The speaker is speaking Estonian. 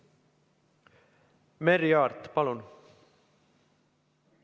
Merry Aart, palun!